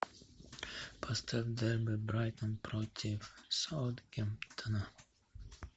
поставь дерби брайтон против саутгемптона